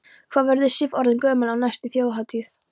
Hvað verður Sif orðin gömul á næstu Þjóðhátíð?